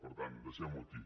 per tant deixem ho aquí